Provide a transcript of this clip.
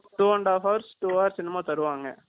two and half hours , two hours , ennamo தருவாங்க.